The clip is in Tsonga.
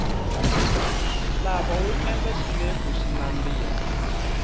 nhlava wu endla xinefu xi nandiha